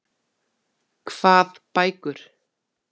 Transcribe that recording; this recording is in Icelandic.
Hvað bækur?